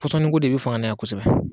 pɔnɔniko de bɛ fanga na yan kosɛbɛ